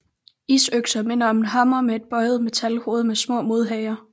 Isøkser minder om en hammer med et bøjet metalhoved med små modhagere